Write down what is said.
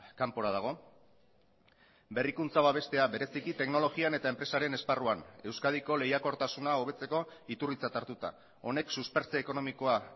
kanpora dago berrikuntza babestea bereziki teknologian eta enpresaren esparruan euskadiko lehiakortasuna hobetzeko iturritzat hartuta honek suspertze ekonomikoa